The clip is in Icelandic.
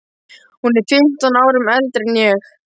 Hún er fimmtán árum eldri en ég.